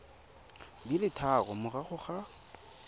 di le tharo morago ga